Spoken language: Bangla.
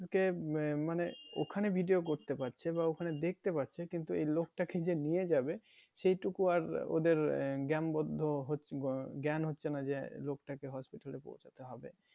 যে আহ মানে ওখানে video করতে পারছে বা ওখানে দেখতে পাচ্ছে কিন্তু ওই লোকটাকে যে নিয়ে যাবে সেইটুকু আর ওদের জ্ঞান বদ্ধ জ্ঞান হচ্ছে না যে লোকটাকে hospital এ পৌঁছাতে হবে।